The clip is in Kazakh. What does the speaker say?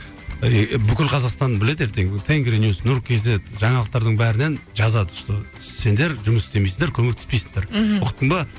ыыы бүкіл қазақстан біледі ертең тенгри ньюс нұр кейзет жаңалықтардың бәрінен жазады что сендер жұмыс істемейсіңдер көмектеспейсіңдер мхм ұқтың ба